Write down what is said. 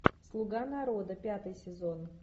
слуга народа пятый сезон